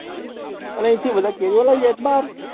અને અહિયાંથી કેરીઓ લઇ જાય છે બાર